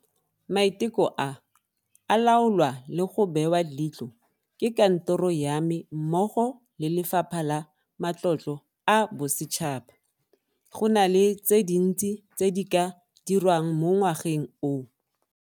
Maiteko a, a laolwa le go bewa leitlho ke Kantoro ya me mmogo le Lefapha la Matlotlo a Bosetšhaba. Go na le tse dintsi tse di ka dirwang mo ngwageng o.